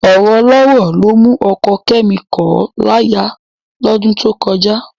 Ọ̀rọ̀ ọlọ́rọ̀ ló mú ọkọ Kẹ́mi kọ̀ ọ́ láya lọ́dún tó kọjá